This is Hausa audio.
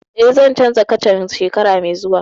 Eh, zan canza kacan shekara mai zuwa